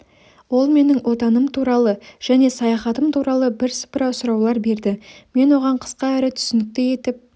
ол менің отаным туралы және саяхатым туралы бірсыпыра сұраулар берді мен оған қысқа әрі түсінікті етіп